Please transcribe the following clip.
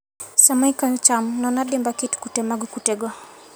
Sama ikayo cham, non adimba kit kute mag kutego.